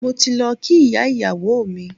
Mo ti lọ kí ìyá ìyàwó mi.